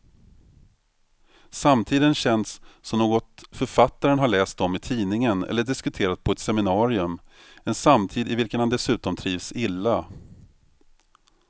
Samtiden känns som något författaren har läst om i tidningen eller diskuterat på ett seminarium, en samtid i vilken han dessutom trivs illa.